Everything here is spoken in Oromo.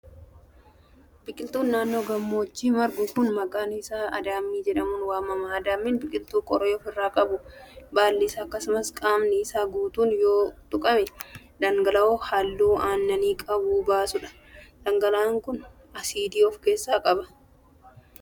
Biqiltuun naannoo gammoojjitti margu kun, maqaan isaa adaamii jedhamuun waamama. Adaamiin biqiltuu qoree of irraa qabu, baalli isaa akkasumas qaamni isaa guutuun yoo tuqame dhangala'oo haalluu aannanii qabu baasu dha. Dhangala'aan kun, asiidii of keessaa qaba.